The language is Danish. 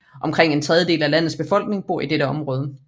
Omkring en tredjedel af landets befolkning bor i dette område